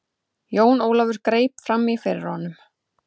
Jón Ólafur greip framí fyrir honum.